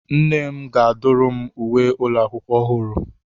Nne m ga-adụrụ m uwe ụlọ akwụkwọ ọhụrụ.